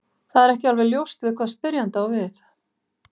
Það er ekki alveg ljóst við hvað spyrjandi á við.